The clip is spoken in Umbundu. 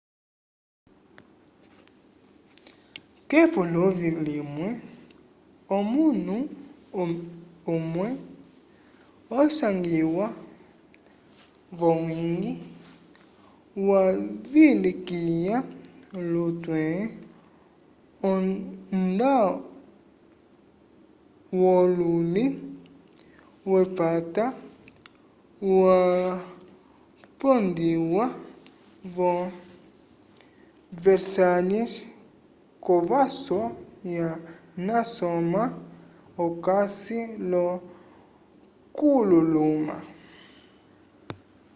k'epuluvi limwe omunu umwe osangiwa v'owiñgi wavilikiya lutwe ondawululi wepata wapondiwa vo versalhes k'ovaso ya nasoma okasi l'okululuma